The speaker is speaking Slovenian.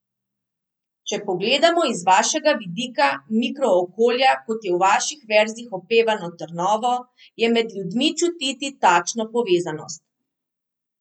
Če pogledamo iz vašega vidika mikrookolja, kot je v vaših verzih opevano Trnovo, je med ljudmi čutiti takšno povezanost?